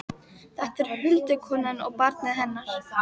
Þetta eru huldukonan og barnið hennar!